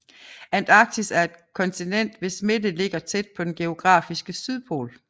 Antarktis er et kontinent hvis midte ligger tæt på den geografiske sydpol